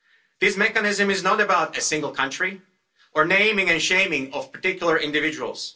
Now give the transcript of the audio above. This mechanism is not about a single country or the naming and shaming of particular individuals.